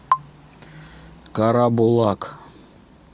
карабулак